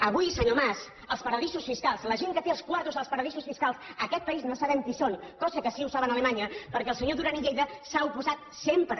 avui senyor mas els paradisos fiscals la gent que té els quartos als paradisos fiscals en aquest país no sabem qui són cosa que sí saben a alemanya perquè el senyor duran i lleida s’hi ha oposat sempre